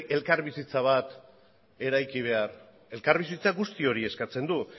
elkarbizitza bat eraiki behar elkarbizitzak guzti hori eskatzen du